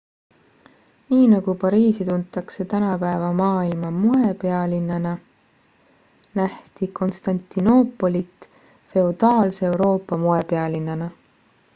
nii nagu pariisi tuntakse tänapäeva maailma moepealinnana nähti konstantinoopolit feodaalse euroopa moepealinnana